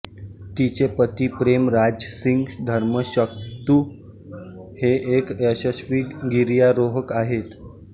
तिचे पती प्रेम राज सिंग धर्मशक्तू हे एक यशस्वी गिर्यारोहक आहेत